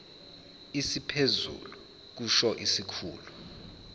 esiphezulu kusho isikhulu